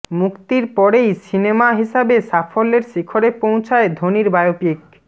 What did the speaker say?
মুক্তির পরেই সিনেমা হিসাবে সাফল্যের শিখরে পৌঁছায় ধোনির বায়োপিক